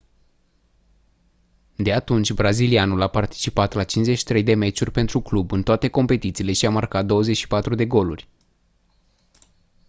de atunci brazilianul a participat la 53 de meciuri pentru club în toate competițiile și a marcat 24 de goluri